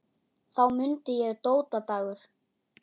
Þá mundi ég: Dóta Dagur.